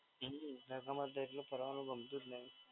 હમ્મ હમ્મ તડકામાં તો એટલે ફરવાનું ગમતું જ નહીં.